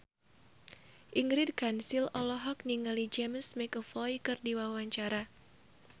Ingrid Kansil olohok ningali James McAvoy keur diwawancara